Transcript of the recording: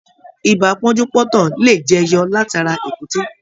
Ìbá pọ́njú-pọ́ntọ̀ lè jẹyọ látara èkúté.